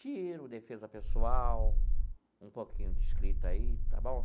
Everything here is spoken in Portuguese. Tiro, defesa pessoal, um pouquinho de escrita aí, está bom?